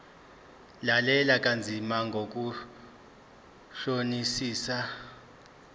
lalela kanzima ngokuhlolisisa